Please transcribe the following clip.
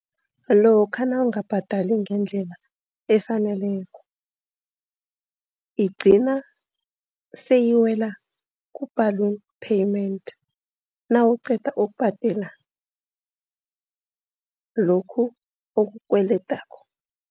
Lokha nawungabhadali ngendlela efaneleko igcina seyiwela ku-ballon payment, nawuqeda ukubhadela lokhu okukweledako.